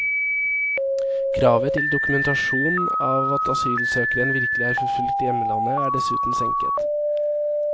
Kravet til dokumentasjon av at asylsøkeren virkelig er forfulgt i hjemlandet, er dessuten senket.